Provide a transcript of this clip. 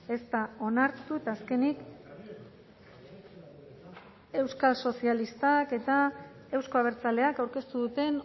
ez da onartu eta azkenik euskal sozialistak eta euzko abertzaleak aurkeztu duten